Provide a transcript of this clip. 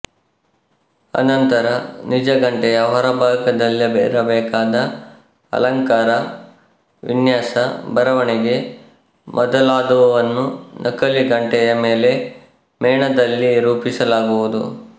ಅನಂತರ ನಿಜ ಗಂಟೆಯ ಹೊರಭಾಗದಲ್ಲಿರಬೇಕಾದ ಅಲಂಕಾರ ವಿನ್ಯಾಸ ಬರವಣಿಗೆ ಮೊದಲಾದುವನ್ನು ನಕಲಿ ಗಂಟೆಯ ಮೇಲೆ ಮೇಣದಲ್ಲಿ ರೂಪಿಸಲಾಗುವುದು